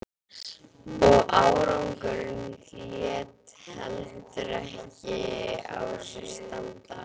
Og árangurinn lét heldur ekki á sér standa.